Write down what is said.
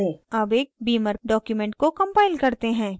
अब एक beamer document को compile करते हैं